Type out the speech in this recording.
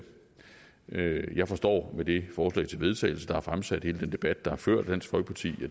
jeg forstår med det forslag til vedtagelse der er fremsat og hele den debat der er ført af dansk folkeparti